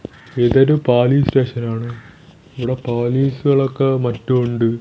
ഇതൊരു പോലീസ് സ്റ്റേഷനാണ് ഇവിടെ പോലീസുകളൊക്കെ മറ്റും ഉണ്ട്.